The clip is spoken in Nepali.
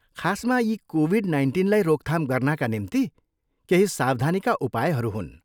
खासमा यी कोभिड नाइन्टिनलाई रोकथाम गर्नाका निम्ति केही सावधानीका उपायहरू हुन्।